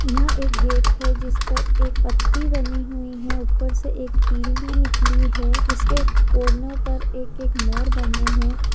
यह एक गेट है जिस पर एक पत्ती बनी हुई है ऊपर से एक तिल भी निकली है जिसके कोनो पर एक एक मोर बने है।